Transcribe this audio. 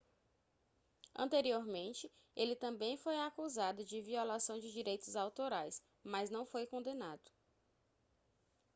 anteriormente ele também foi acusado de violação de direitos autorais mas não foi condenado